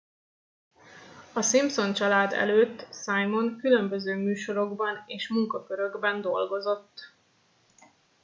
a simpson család előtt simon különböző műsorokban és munkakörökben dolgozott